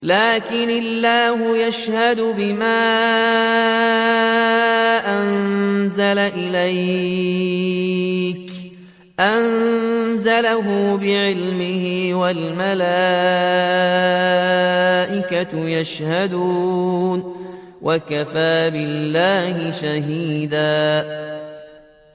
لَّٰكِنِ اللَّهُ يَشْهَدُ بِمَا أَنزَلَ إِلَيْكَ ۖ أَنزَلَهُ بِعِلْمِهِ ۖ وَالْمَلَائِكَةُ يَشْهَدُونَ ۚ وَكَفَىٰ بِاللَّهِ شَهِيدًا